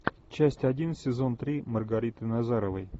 часть один сезон три маргариты назаровой